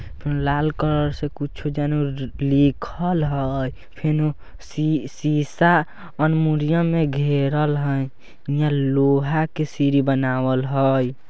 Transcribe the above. फेनु लाल कलर से कुछो जानू लिखल हई फेनु शिशा एलमुनियम में घेरल हई इहां लोहा का सीडी बनावल हई ।